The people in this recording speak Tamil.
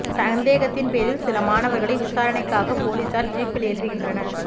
சந்தேகத்தின் பேரில் சில மாணவர்களை விசாரணைக்காக போலீசார் ஜீப்பில் ஏற்றுகின்றனர்